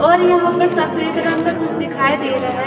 और यहां पर सफेद रंग का कुछ दिखाई दे रहा है।